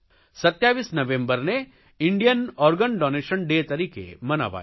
27 નવેમ્બરને Indian organ donation day તરીકે મનાવાયો